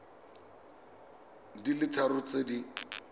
di le tharo tse di